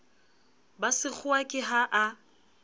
ba sekgowa ke ha a